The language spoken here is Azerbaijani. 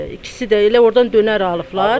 İkisi də elə ordan dönər alıblar.